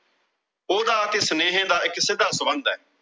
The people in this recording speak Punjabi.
ਉਹਦਾ ਤੇ ਸੁਨੇਹੇ ਦਾ ਇੱਕ ਸਿੱਧਾ ਸਬੰਧ ਆ।